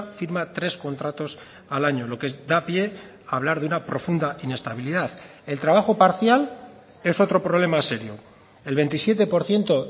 firma tres contratos al año lo que da pie a hablar de una profunda inestabilidad el trabajo parcial es otro problema serio el veintisiete por ciento